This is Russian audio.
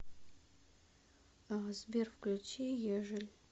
сбер включи ежель